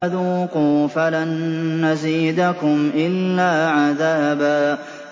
فَذُوقُوا فَلَن نَّزِيدَكُمْ إِلَّا عَذَابًا